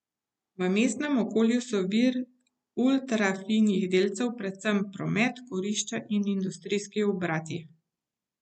V mestnem okolju so vir ultrafinih delcev predvsem promet, kurišča in industrijski obrati.